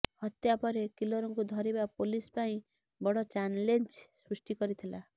ହତ୍ୟା ପରେ କିଲରକୁ ଧରିବା ପୋଲିସ ପାଇଁ ବଡ ଚାଲେଞ୍ଜ ସୃଷ୍ଟି କରିଥିଲା